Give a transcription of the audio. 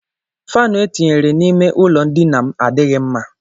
Faanụ e tinyere n'ime ụlọ ndina m adịghị mma.